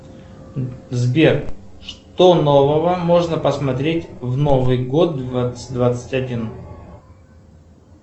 сбер что нового можно посмотреть в новый год двадцать двадцать один